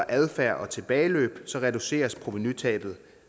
adfærd og tilbageløb reduceres provenutabet